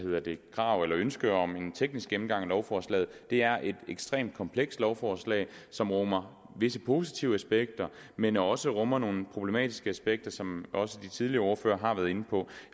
krav eller ønske om en teknisk gennemgang af lovforslaget det er et ekstremt komplekst lovforslag som rummer visse positive aspekter men også rummer nogle problematiske aspekter som også de tidligere ordførere har været inde på